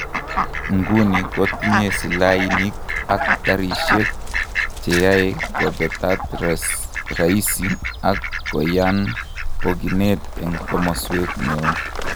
Iguni kotinye silahinik ak garishek ,cheyae kopetat rahisi ak koyan pokinet en komoswek neo.